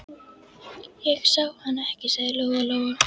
Ég sá hann ekki, sagði Lóa Lóa.